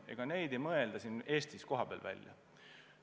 Ega neid ei mõelda siin Eestis kohapeal välja.